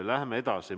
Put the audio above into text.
Läheme edasi.